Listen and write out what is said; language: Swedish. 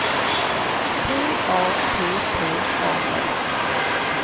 P A P P A S